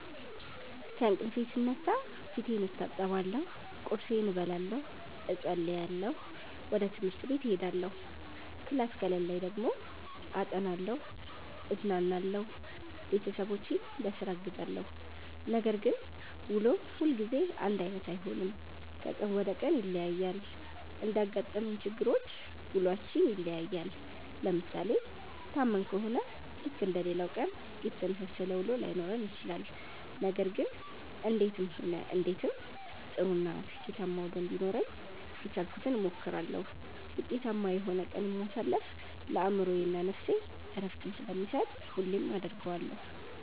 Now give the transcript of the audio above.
ከእንቅልፌ ስነሳ ፌቴን እታጠባለሁ ቁርሴን እበላለሁ እፀልያለሁ ወጀ ትምሀርቴ እሄዳለሁ ክላስ ከሌለኝ ደግሞ አጠናለሁ እዝናናለሁ ቤተሠቦቼን ቧስራ አግዛለሁ። ነገር ግን ውሎ ሁልጊዜ አንዳይነት አይሆንም ከቀን ወደ ቀን ይለያያል። እንዳጋጠመን ችግሮች ውሏችን ይለያያል። ለምሣሌ ታመን ከሆነ ልክ እንደሌላው ቀን የተመሣሠለ ውሎ ላይኖረን ይችላል። ነገር ግን እንዴትም ሆነ እንዴትም ጥሩ እና ስኬታማ ውሎ እንዲኖረኝ የቻልኩትን እሞክራለሁ። ውጤታማ የሆነ ቀንን ማሣለፍ ለአእምሮዬ እና ነፍሴ ዕረፍትን ስለሚሠጥ ሁሌም አደርገዋለሁ።